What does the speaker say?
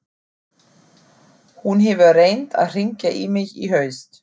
Hún hefur reynt að hringja í mig í haust.